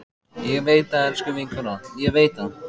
Ég veit það, elsku vinkona, ég veit það.